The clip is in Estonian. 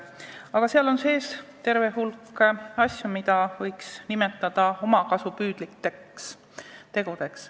Aga seal on sees terve hulk asju, mida võiks nimetada omakasupüüdlikeks ettevõtmisteks.